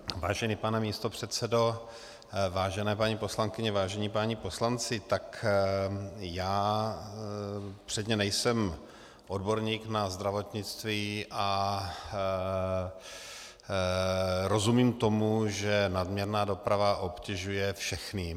Vážený pane místopředsedo, vážené paní poslankyně, vážení páni poslanci, tak já předně nejsem odborník na zdravotnictví a rozumím tomu, že nadměrná doprava obtěžuje všechny.